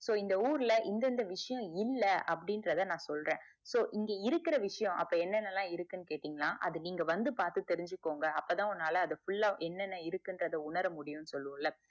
so இந்த ஊருல இந்த இந்த விஷயம் இல்ல அப்டிங்குரத நான் சொல்றேன் இங்க இருக்குற விஷயம் அப்ப என்னேனலாம் இருக்குதுன்னு கேட்டீங்கனா அது நீங்க வந்து பாத்து தெரிஞ்சுக்கோங்க அப்பத்தான் உன்னால full ஆஹ் என்னென இருக்கு இன்றத உணர முடியம் சொல்லுவோம்ல